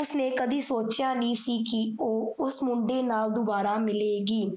ਉਸ ਨੇ ਕਦੀ ਸੋਚੇਆ ਨਹੀਂ ਸੀ ਕੀ ਓਹ ਉਸ ਮੁੰਡੇ ਨਾਲ ਦੋਬਾਰਾ ਮਿਲੇਗੀ,